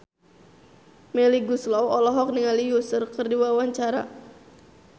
Melly Goeslaw olohok ningali Usher keur diwawancara